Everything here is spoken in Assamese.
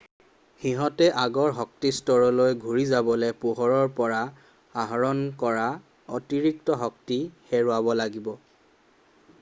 সিহতে আগৰ শক্তিস্তৰলৈ ঘূৰি যাবলৈ পোহৰৰ পৰা আহৰণ কৰা অতিৰিক্ত শক্তি হেৰুৱাব লাগিব